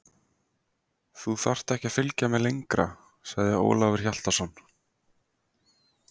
Þú þarft ekki að fylgja mér lengra, sagði Ólafur Hjaltason.